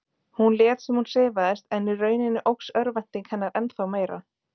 Hún lét sem hún sefaðist en í rauninni óx örvænting hennar ennþá meira.